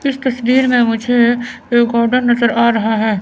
इस तस्वीर में मुझे रिकार्डर नजर आ रहा है।